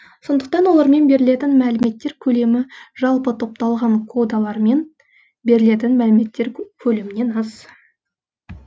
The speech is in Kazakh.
сондықтан олармен берілетін мәліметтер көлемі жалпы топталған кодалармен берілетін мәліметтер көлемінен аз